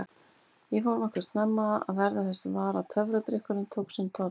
Ég fór nokkuð snemma að verða þess var að töfradrykkurinn tók sinn toll.